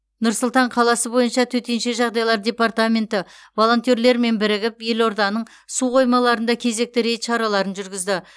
нұр сұлтан қаласы бойынша төтенше жағдайлар департаменті волонтерлермен бірігіп елорданың су қоймаларында кезекті рейд шараларын жүргізді